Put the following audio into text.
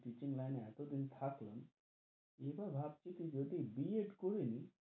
Teaching line এ এতো দিন থাকলাম, এবার ভাবছি যে যদি বি এড করে নি,